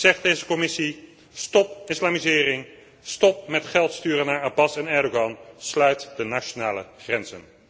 Ik zeg deze commissie stop islamisering, stop met geld sturen naar Abbas en Erdogan, sluit de nationale grenzen.